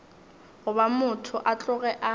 goba motho a tloge a